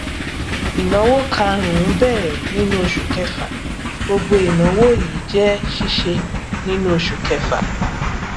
ìnáwó kàrúnún bẹrẹ nínú oṣù kẹfà gbogbo ìnáwó yìí jẹ síse nínú oṣù kẹfà